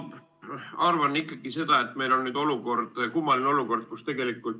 Ma arvan, et meil on kummaline olukord.